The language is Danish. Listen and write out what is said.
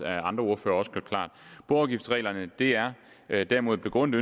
har andre ordførere også gjort klart boafgiftsreglerne er er derimod begrundet